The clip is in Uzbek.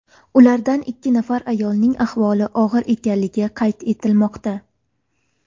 Ulardan ikki nafar ayolning ahvoli og‘ir ekanligi qayd etilmoqda.